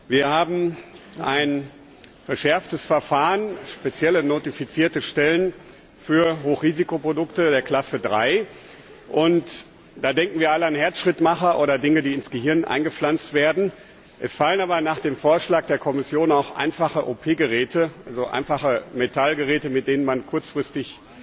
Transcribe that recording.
Wir haben ein verschärftes Verfahren, spezielle notifizierte Stellen für Hochrisikoprodukte der Klasse III. Da denken wir alle an Herzschrittmacher oder an Dinge, die ins Gehirn eingepflanzt werden. Es fallen aber nach dem Vorschlag der Kommission auch einfache OP Geräte darunter, also einfache Metallgeräte, mit denen man nur kurzfristig